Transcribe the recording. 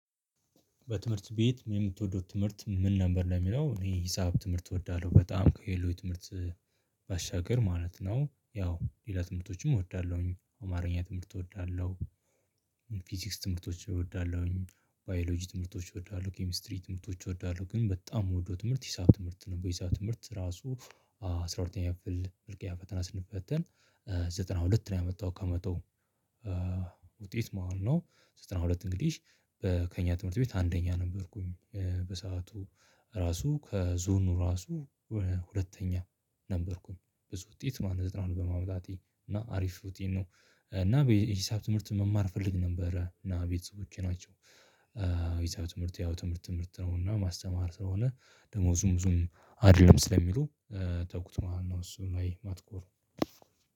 በትምህርት ቤት የምትወደው ትምህርት ምን ነበር? ለሚለው እኔ ሂሳብ ትምህርት እወዳለሁ በጣም ከሌሎች ትምህርት ባሻገር ማለት ነው ያው ሌላ ትምህርቶችም እወዳለሁኝ አማርኛ ትምህርት እወዳለሁ ፊዚክስ ትምህርቶች እወዳለሁኝ ባዮሎጂ ትምህርቶች እወዳለሁ ኬሚስትሪ ትምህርቶች እወዳለሁ ግን በጣም የምወደው ትምህርት ሂሳብ ትምህርት ነው ሂሳብ ትምህርት ራሱ አስራ ሁለተኛ ክፍል መልቀቂያ ፈተና ስንፈተን ዘጠና ሁለት ነው ያመጣው ከመቶ ውጤት ማለት ነው ዘጠና ሁለት እንግዲህ በከኛ ትምህርት ቤት አንደኛ ነበርኩኝ በሰአቱ ራሱ ከዞኑ ራሱ ሁለተኛ ነበርኩኝ ብዙ ውጤት ማለት ዘጠና ሁለት በማምጣቴ እና አሪፍ ውጤት ነው እና በሂሳብ ትምህርት መማር እፈልግ ነበረ እና ቤተሰቦቼ ናቸው ይሄ ትምህርት ያው ትምህርት ትምህርት ነው እና ማስተማር ስለሆነ ደሞዙም ብዙም አይደለም ስለሚሉ ተጉት ማነው እሱ ነው አይ ማትኮር